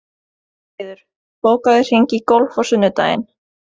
Málfríður, bókaðu hring í golf á sunnudaginn.